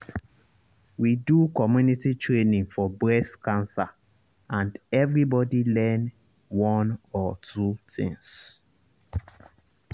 we do community training for breast cancer and everybody learn one or two things.